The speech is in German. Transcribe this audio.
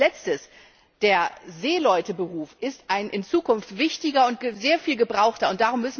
Und als Letztes Der Seeleute Beruf ist ein in Zukunft wichtiger und sehr viel gebrauchter Beruf.